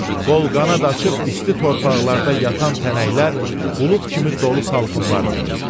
Qol qanad açıb isti torpaqlarda yatan tənəklər bulud kimi dolu salxımlar verir.